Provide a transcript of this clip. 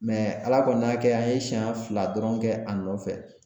Ala kɔni y'a kɛ an ye siɲɛ fila dɔrɔn kɛ a nɔfɛ